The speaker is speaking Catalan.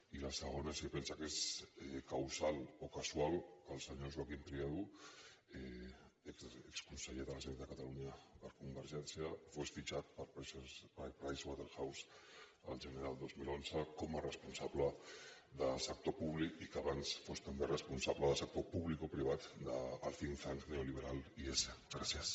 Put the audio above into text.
i la segona és si pensa que és causal o casual que el senyor joaquim triadú exconseller de la generalitat de catalunya per convergència fos fitxat per pricewaterhouse el gener del dos mil onze com a responsable de sector públic i que abans fos també responsable del sector publico privat del gràcies